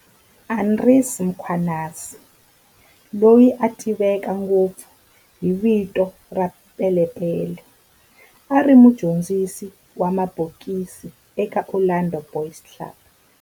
Andries Mkhwanazi, loyi a tiveka ngopfu hi vito ra Pele Pele, a ri mudyondzisi wa mabokisi eka Orlando Boys Club.